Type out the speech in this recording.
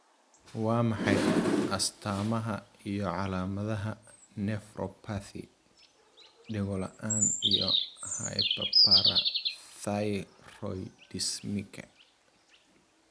Waa maxay astamaha iyo calaamadaha nephropathy, dhego-la'aan, iyo hyperparathyroidismka?